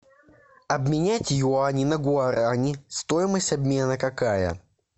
обменять юани на гуарани стоимость обмена какая